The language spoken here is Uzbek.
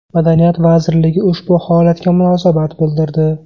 Madaniyat vazirligi ushbu holatga munosabat bildirdi .